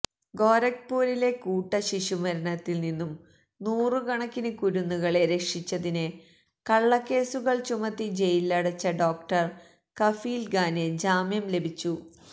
ഗൊരഖ്പൂരിലെ കൂട്ട ശിശുമരണത്തില് നിന്നും നൂറുകണക്കിന് കുരുന്നുകളെ രക്ഷിച്ചതിന് കള്ളക്കേസുകള് ചുമത്തി ജയിലിലടച്ച ഡോക്ടര് കഫീല് ഖാന് ജാമ്യം ലഭിച്ചു